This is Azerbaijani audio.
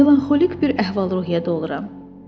Melanxolik bir əhval-ruhiyyədə oluram.